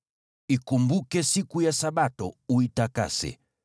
Ikumbuke siku ya Sabato, uitakase.